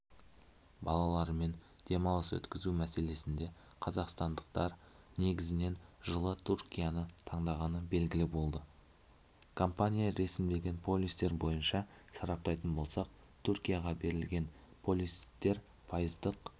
балаларымен демалыс өткізу мәселесінде қазақстандықтар негізінен жылы түркияны таңдағаны белгілі болды компания ресімдеген полистер бойынша сараптайтын болсақ түркияға берілген полистер пайыздық